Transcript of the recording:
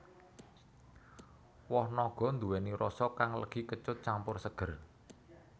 Woh naga nduwèni rasa kang legi kecut campur seger